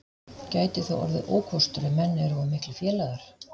Gæti það orðið ókostur ef menn eru of miklir félagar?